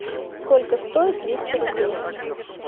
сколько стоит двести рублей